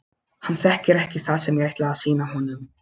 Hann þekkir ekki það sem ég ætla að sýna honum.